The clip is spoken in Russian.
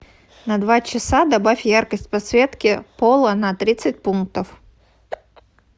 на два часа добавь яркость подсветки пола на тридцать пунктов